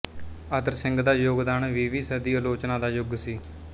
ਅਤਰ ਸਿੰਘ ਦਾ ਯੋਗਦਾਨ ਵੀਹਵੀਂ ਸਦੀ ਅਲੋਚਨਾ ਦਾ ਯੁਗ ਸੀ